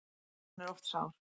Hann er oft sár.